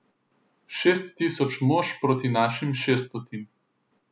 Šest tisoč mož proti našim šeststotim.